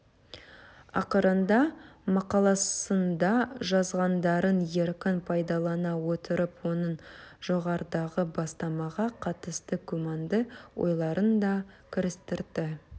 ақырында мақаласында жазғандарын еркін пайдалана отырып оның жоғарыдағы бастамаға қатысты күмәнді ойларын да кірістірді